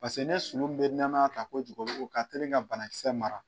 Pase ne sumun bɛ nɛmaya ta kojugu o ka teli ka banakisɛ mara.